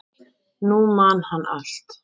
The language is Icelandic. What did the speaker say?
Nú man hann allt.